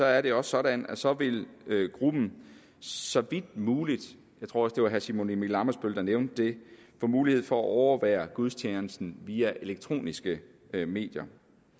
er det også sådan at så vil gruppen så vidt muligt jeg tror også det var herre simon emil ammitzbøll der nævnte det få mulighed for at overvære gudstjenesten via elektroniske medier